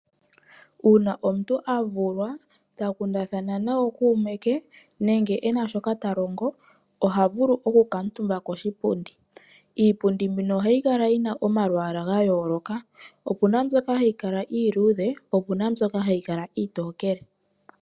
Uuna omuntu a vulwa ,ta kundathana nookuume ke nenge e na shoka ta longo, oha vulu okukuutumba koshipundi. Iipundi mbino ohayi kala yi na omalwaalwa ga yooloka. Opu na mbyoka hayi kala iiludhe, opu na mbyoka hayi kala iitokele.